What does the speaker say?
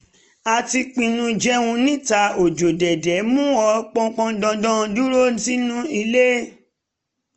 a ti pinnu jẹun níta òjò dédé mú ó pọndandan dúró sínú ilé